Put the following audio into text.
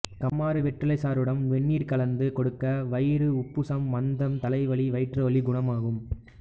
கம்மாறு வெற்றிலைச் சாறுடன் வெந்நீர் கலந்து கொடுக்க வயிறு உப்புசம் மந்தம் தலைவலி வயிற்றுவலி குணமாகும்